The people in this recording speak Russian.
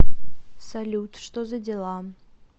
салют что за дела